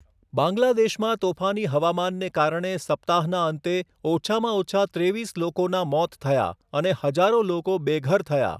બાંગ્લાદેશમાં તોફાની હવામાનને કારણે સપ્તાહના અંતે ઓછામાં ઓછા ત્રેવીસ લોકોના મોત થયા અને હજારો લોકો બેઘર થયા.